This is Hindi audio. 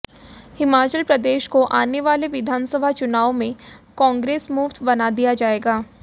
हिमाचल प्रदेश को आने वाले विधानसभा चुनावों में कांग्रेस मुक्त बना दिया जाएगा